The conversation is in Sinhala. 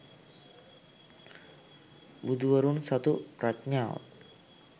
බුදුවරුන් සතු ප්‍රඥාව